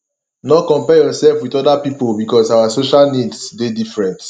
no compare yourself with oda pipo because our social needs dey different